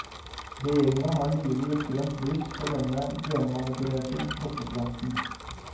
Regjeringa har nylig gitt grønt lys for denne genmanipulerte potteplanten.